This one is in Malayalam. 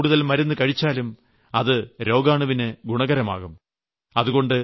ആവശ്യത്തിൽകൂടുതൽ മരുന്ന് കഴിച്ചാലും അത് രോഗാണുവിന് ഗുണകരമാകും